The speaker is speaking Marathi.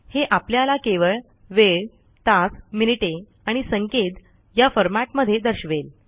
हे आपल्याला केवळ वेळ तास मिनिटे आणि सेकंद या फॉरमॅटमध्ये दर्शवेल